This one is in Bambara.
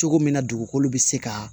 Cogo min na dugukolo bɛ se ka